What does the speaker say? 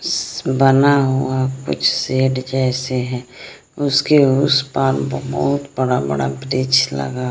बना हुआ कुछ शेड जैसे है उसके उस पार बहुत बड़ा बड़ा वृक्ष लगा--